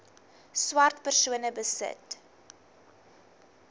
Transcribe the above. swart persone besit